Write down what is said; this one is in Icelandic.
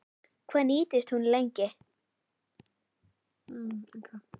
Hvað nýtist hún lengi?